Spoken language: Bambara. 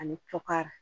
Ani kɔkari